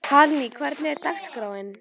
Hallný, hvernig er dagskráin?